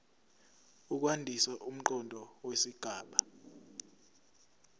ukwandisa umqondo wesigaba